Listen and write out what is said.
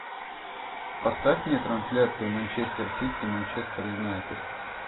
поставь мне трансляцию манчестер сити и манчестер юнайтед